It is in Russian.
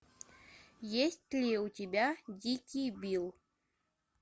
есть ли у тебя дикий билл